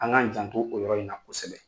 An k'an jantu o yɔrɔ in na kosɛbɛ.